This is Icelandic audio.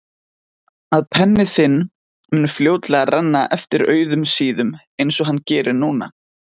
Að penni þinn mun fljótlega renna eftir auðum síðum einsog hann gerir núna.